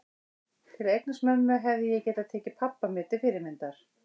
Til að eignast mömmu hefði ég getað tekið pabba mér til fyrirmyndar.